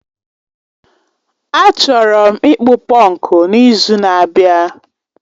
A chọrọ ịkpụ punku n'izu na-abịa